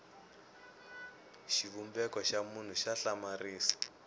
xivumbeko xa munhu xa hlamarisa